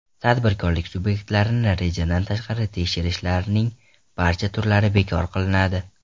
Tadbirkorlik subyektlarini rejadan tashqari tekshirishlarning barcha turlari bekor qilinadi .